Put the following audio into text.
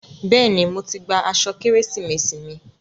Bẹ́ẹ̀ni, mo ti gba aṣọ Kérésìmesì mi.